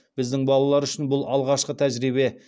біздің балалар үшін бұл алғашқы тәжірибе